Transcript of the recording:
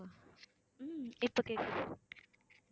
உம் இப்ப கேக்குது